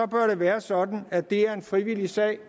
bør det være sådan at det er en frivillig sag